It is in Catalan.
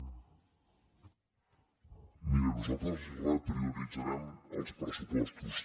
miri nosaltres reprioritzarem els pressupostos